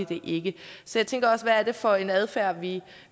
det ikke så jeg tænker også hvad er det for en adfærd vi